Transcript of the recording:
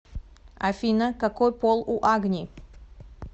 афина какой пол у агни